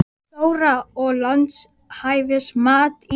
Þóra: Og lánshæfismat Íslands?